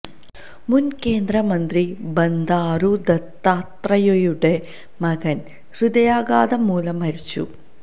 മുന് കേന്ദ്രമന്ത്രി ബന്ധാരു ദത്താത്രയയുടെ മകന് ഹൃദയാഘാതം മൂലം മരിച്ചു